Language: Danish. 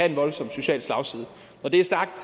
en voldsom social slagside når det er sagt